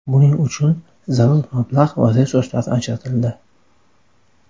Buning uchun zarur mablag‘ va resurslar ajratildi.